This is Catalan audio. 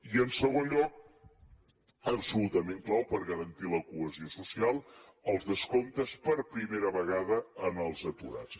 i en segon lloc absolutament clau per garantir la cohesió social els descomptes per primera vegada als aturats